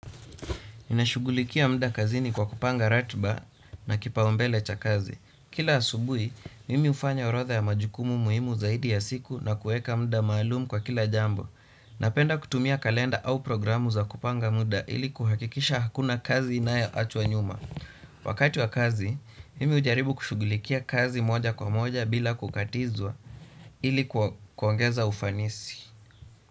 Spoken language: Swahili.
Nimeshughulikia muda kazini, kwa kupanga ratiba na kipaumbele cha kazi. Kila asubuhi, mimi hufanya orodha ya majukumu muhimu zaidi ya siku na kueka muda maalum kwa kila jambo. Napenda kutumia kalenda au programu za kupanga muda, ili kuhakikisha hakuna kazi inayoachwa nyuma. Wakati wa kazi, mimi hujaribu kushughulikia kazi moja kwa moja, bila kukatizwa ili kuongeza ufanisi.